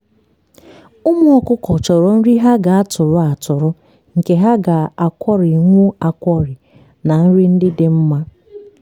ụmụ ọkụkọ chọrọ nri ha ga-atụrụ atụrụ nke ha ga-akwọrịnwu akwọrị na nri ndị dị mma